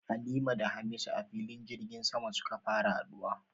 Halima da Hamisu a filin jirgin sama suka fara haduwa